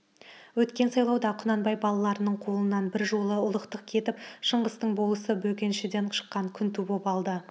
өткен сайлауда құнанбай балаларының қолынан бір жолы ұлықтық кетіп шыңғыстың болысы бөкеншіден шыққан күнту боп алды